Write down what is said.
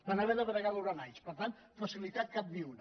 van haver de bregar durant anys per tant de facilitats cap ni una